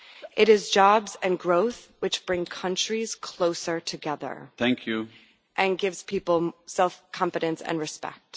It is jobs and growth which bring countries closer together and gives people more self confidence and respect.